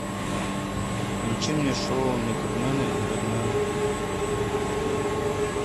включи мне шоу методмена и редмена